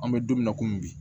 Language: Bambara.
An bɛ don min na komi bi